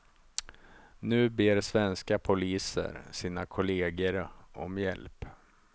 Nu ber svenska poliser sina kolleger om hjälp.